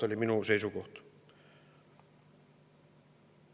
See oli minu seisukoht.